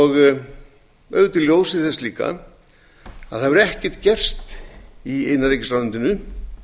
auðvitað í ljósi þess líka að ekkert hefur gerst í innanríkisráðuneytinu